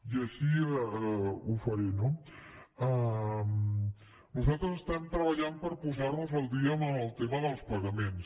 i així jo faré no nosaltres estem treballant per posar nos al dia en el tema dels pagaments